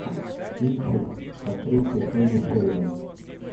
кинчик с актрисой келли шеридан